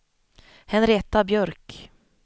Henrietta Björk